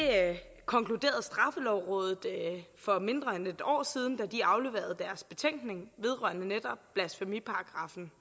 konkluderede straffelovrådet for mindre end et år siden da de afleverede deres betænkning vedrørende netop blasfemiparagraffen